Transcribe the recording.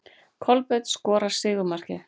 Kolbeinn skorar sigurmarkið.